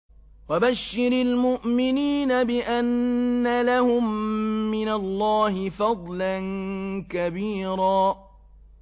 وَبَشِّرِ الْمُؤْمِنِينَ بِأَنَّ لَهُم مِّنَ اللَّهِ فَضْلًا كَبِيرًا